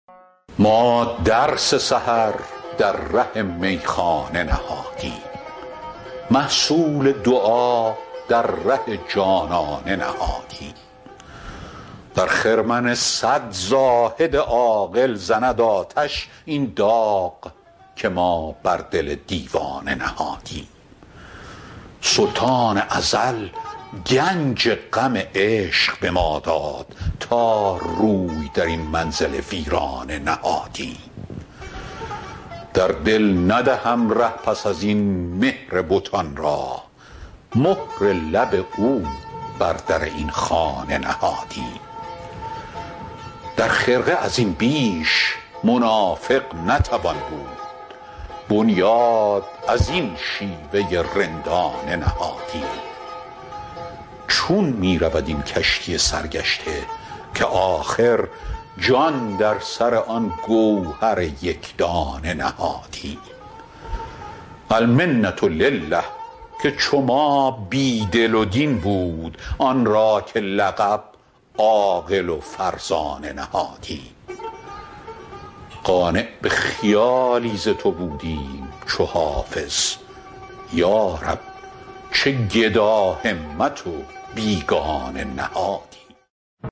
ما درس سحر در ره میخانه نهادیم محصول دعا در ره جانانه نهادیم در خرمن صد زاهد عاقل زند آتش این داغ که ما بر دل دیوانه نهادیم سلطان ازل گنج غم عشق به ما داد تا روی در این منزل ویرانه نهادیم در دل ندهم ره پس از این مهر بتان را مهر لب او بر در این خانه نهادیم در خرقه از این بیش منافق نتوان بود بنیاد از این شیوه رندانه نهادیم چون می رود این کشتی سرگشته که آخر جان در سر آن گوهر یک دانه نهادیم المنة لله که چو ما بی دل و دین بود آن را که لقب عاقل و فرزانه نهادیم قانع به خیالی ز تو بودیم چو حافظ یا رب چه گداهمت و بیگانه نهادیم